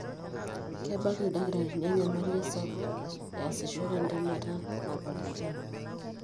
kebaak ildakitarini enyamali esapo easishore entemata napaasha.